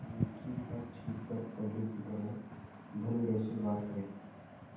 दुनिया की हर चीज पर पहले की तरह धडल्ले से बात करे